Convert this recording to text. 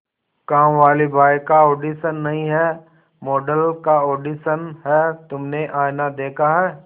कामवाली बाई का ऑडिशन नहीं है मॉडल का ऑडिशन है तुमने आईना देखा है